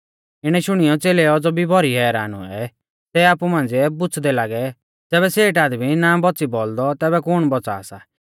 इणै शुणियौ च़ेलै औज़ौ भी भौरी हैरान हुऐ सै आपु मांझ़िऐ पुछ़दै लागै ज़ैबै सेठ आदमी ना बौच़ी बौल़दौ तैबै कुण बौच़ा सा